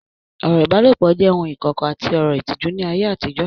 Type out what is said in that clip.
Ọ̀rọ̀ ìbálòpọ̀ jẹ́ ohun ìkọ̀kọ̀ àti ọ̀rọ̀ ìtìjú ní ayé àtijọ́